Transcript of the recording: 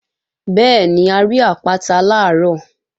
Bẹ́ẹ̀ni, a rí àpáta làárọ̀